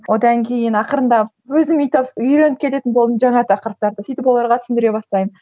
одан кейін ақырындап өзім үй үйреніп келетін болдым жаңа тақырыптарды сөйтіп оларға түсіндіре бастаймын